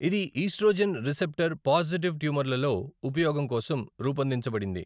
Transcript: ఇది oestrogen receptor positive ట్యూమర్లలో ఉపయోగం కోసం రూపొందించబడింది.